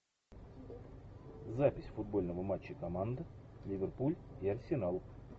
запись футбольного матча команд ливерпуль и арсенал